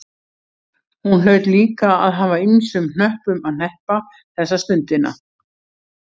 Hún hlaut líka að hafa ýmsum hnöppum að hneppa þessa stundina.